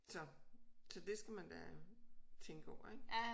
Så så det skal man da tænke over ik